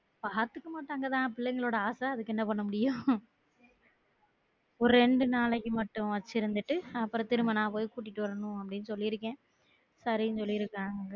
பாத்துக்க மாட்டாங்க தா பிள்ளைங்களோட ஆச அதுக்கு என்ன பண்ண முடியும் ஒரு ரெண்டு நாளைக்கு மட்டும் வச்சு இருந்துட்டு அப்றம் திரும்ப நான் போயி கூட்டிட்டு வரணும் அப்டின்னு சொல்லி இருக்கேன் சரின்னு சொல்லி இருக்காங்க